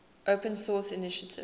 open source initiative